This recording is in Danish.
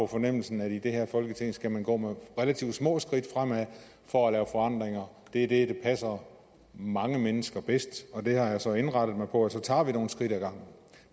fornemmelsen at i det her folketing skal man gå med relativt små skridt fremad for at lave forandringer det er det passer mange mennesker bedst og det har jeg så indrettet mig på så tager vi nogle skridt ad gangen